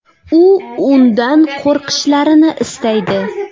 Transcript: U undan qo‘rqishlarini istaydi.